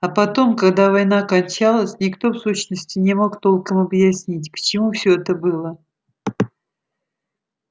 а потом когда война кончалась никто в сущности не мог толком объяснить к чему все это было